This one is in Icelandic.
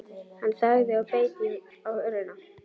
Hann þagði og beit á vörina.